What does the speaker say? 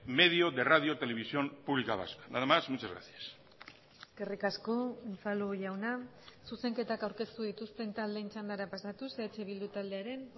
medio de radio televisión pública vasca nada más muchas gracias eskerrik asko unzalu jauna zuzenketak aurkeztu dituzten taldeen txandara pasatuz eh bildu taldearen